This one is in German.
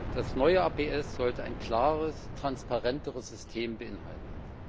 Das neue APS sollte ein klares, transparenteres System beinhalten.